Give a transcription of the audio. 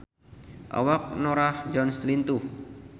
Awak Norah Jones lintuh